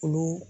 Olu